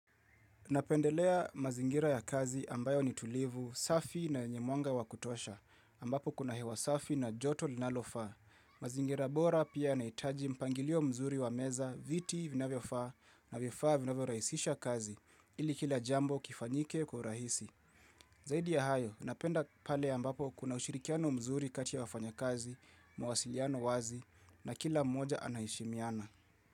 Napendelea mazingira ya kazi ambayo ni tulivu, safi na yenye mwanga wa kutosha, ambapo kuna hewa safi na joto linalofaa. Mazingira bora pia yanaitaji mpangilio mzuri wa meza viti vinavyofaa na vifaa vinavyoraisisha kazi ili kila jambo kifanyike kwa urahisi. Zaidi ya hayo, napenda pale ambapo kuna ushirikiano mzuri kati ya wafanyakazi, mwasiliano wazi na kila moja anaheshimiana.